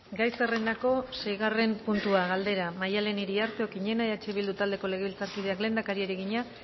gai zerrendako seigarren puntua galdera maddalen iriarte okiñena eh bildu taldeko legebiltzarkideak lehendakariari egina